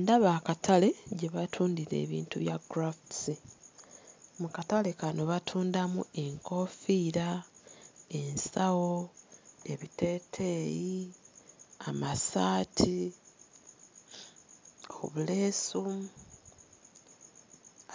Ndaba akatale gye batundira ebintu bya crafts mu katale kano batundamu enkoofiira, ensawo, ebiteeteeyi, amasaati, obuleesu